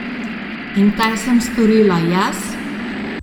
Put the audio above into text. In kaj sem storila jaz?